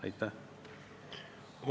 Mitte kuidagi.